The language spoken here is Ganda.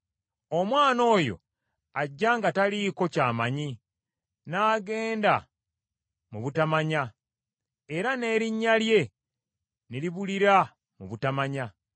Omwana oyo ajja nga taliiko ky’amanyi n’agendera mu butamanya era n’erinnya lye ne libulira mu butamanya.